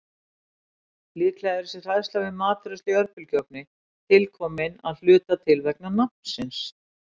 Líklega er þessi hræðsla við matreiðslu í örbylgjuofni til komin að hluta til vegna nafnsins.